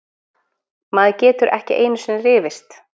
Maður getur ekki einusinni rifist!